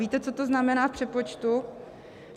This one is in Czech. Víte, co to znamená v přepočtu?